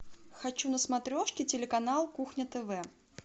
хочу на смотрешке телеканал кухня тв